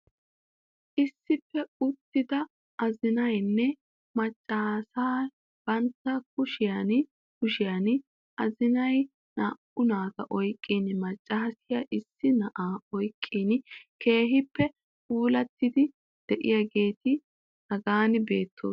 Issippe uttida azinaynne macaassiya banta kushiyan kushiyan azinay naa'u naata oyqqin macaassiya issi na'aa oyqqin keehippe puulattidi diyaageeti hagan beetoosona